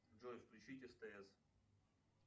джой включить стс